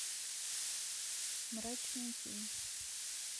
мрачные тени